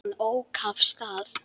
Hann ók af stað.